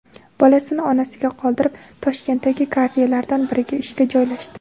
Bolasini onasiga qoldirib, Toshkentdagi kafelardan biriga ishga joylashdi.